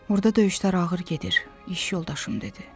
Orda döyüşlər ağır gedir, iş yoldaşım dedi.